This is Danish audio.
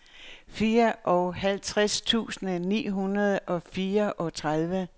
fireoghalvtreds tusind ni hundrede og fireogtredive